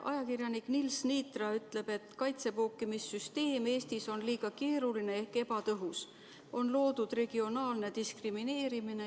Ajakirjanik Nils Niitra ütleb, et kaitsepookimise süsteem Eestis on liiga keeruline ja ebatõhus, on loodud regionaalne diskrimineerimine.